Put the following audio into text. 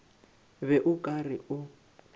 be o ka re o